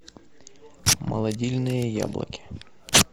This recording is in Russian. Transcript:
молодильные яблоки